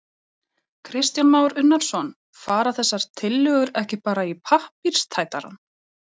Kristján Már Unnarsson: Fara þessar tillögur ekki bara í pappírstætarann?